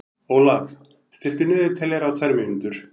Ólaf, stilltu niðurteljara á tvær mínútur.